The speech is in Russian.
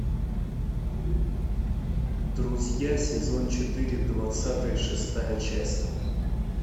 друзья сезон четыре двадцатая шестая часть